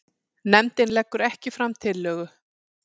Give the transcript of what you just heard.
Nefndin leggur ekki fram tillögu